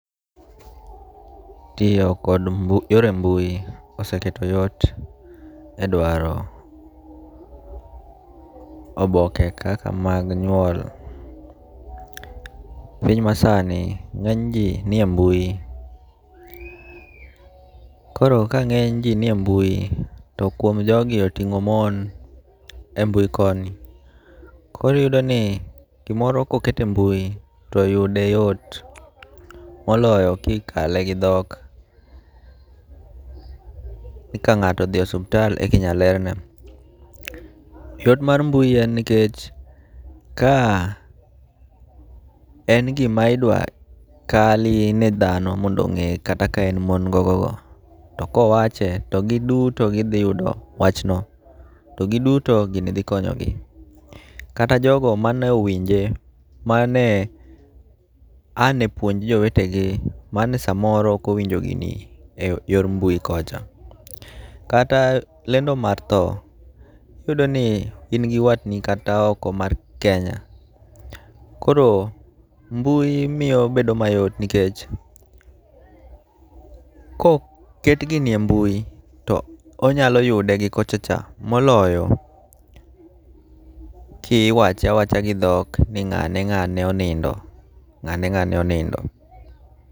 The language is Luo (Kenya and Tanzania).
Tiyo kod yore mbui oseketo yot e dwaro oboke kaka mag nyuol. Piny masani ng'eny ji ni e mbui. Koro ka ng'eny ji ni e mbui to kuom jogi oting'o mon e mbui koni. Koro iyudo ni gimoro koket e mbui to yude yot moloyo kikale gi dhok. Ni ka ng'ato odhi e osuptal e kinya lerne. Yot mar mbui en nikech ka en gima idwa kal ne dhano mondo o ng'e kata ka en mon go go go to kowache to giduto gidhi yudo wach no. To giduto gini dhi konyogi. Kata jogo mane owinje, mane ane puonj jomete gi mane samoro ok owinjo gini e yor mbui kocha. Kata lendo mar tho, iyudo ni in gi watni kata oko mar Kenya, koro mbui miyo bedo mayot nikech koket gini e mbui to onyalo yude gi kochacha moloyo kiwache awacha gi dhok ni ng'ane ng'ane onindo. Ng'ane ng'ane onindo.